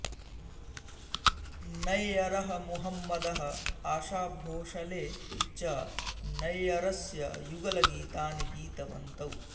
नैयरः मोहम्मदः आशा भोंसले च नैयरस्य युगलगीतानि गीतवन्तौ